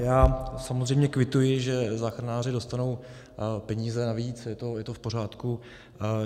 Já samozřejmě kvituji, že záchranáři dostanou peníze navíc, je to v pořádku.